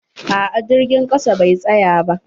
A'a jirgin ƙasa bai tsaya ba.